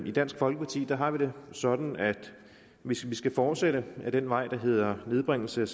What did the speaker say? i dansk folkeparti har vi det sådan at hvis vi skal fortsætte ad den vej der hedder nedbringelse